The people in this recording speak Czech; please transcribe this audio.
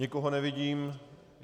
Nikoho nevidím.